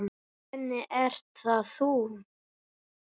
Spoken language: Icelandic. Svenni, ert það þú!?